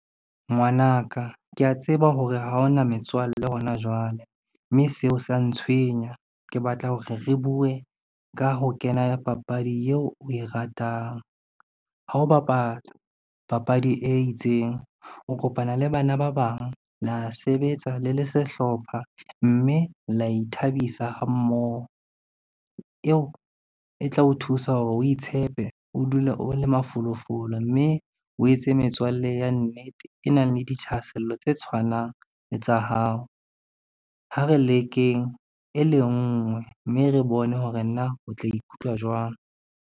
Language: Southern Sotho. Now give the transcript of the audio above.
Ngwanaka kea tseba hore ha ona metswalle hona jwale, mme seo sa ntshwenya. Ke batla hore re bue ka ho kena ya papadi eo o e ratang, ha o bapala papadi e itseng, o kopana le bana ba bang le a sebetsa le le sehlopha, mme la ithabisa ha mmoho eo e tla o thusa hore o itshepe, o dule o le mafolofolo, mme o etse metswalle ya nnete e nang le dithahasello tse tshwanang le tsa hao. Ha re lekeng e le nngwe, mme re bone hore na o tla ikutlwa jwang.